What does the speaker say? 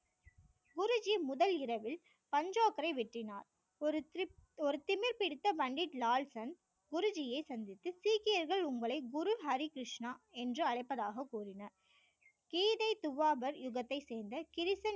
குருஜி முதல் இரவில் பஞ்சாப்பைரை வெட்டினார் ஒரு திமிர் பிடித்த பண்டிட் லால் சன் குரு ஜி யை சந்தித்து சீக்கியர்கள் உங்களை குரு ஹரி கிருஷ்ணா என்று அழைப்பதாக கூறினார் கீதை துவாகர் யுகத்தை சேர்ந்த